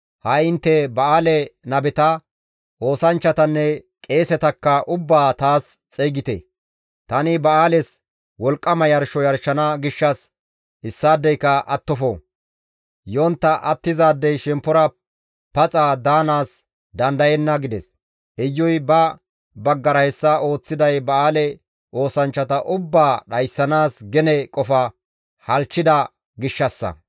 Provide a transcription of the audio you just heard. Ha7i intte ba7aale nabeta, oosanchchatanne qeesetakka ubbaa taas xeygite; tani ba7aales wolqqama yarsho yarshana gishshas issaadeyka attofo; yontta attizaadey shemppora paxa daanaas dandayenna» gides. Iyuy ba baggara hessa ooththiday ba7aale oosanchchata ubbaa dhayssanaas gene qofa halchchida gishshassa.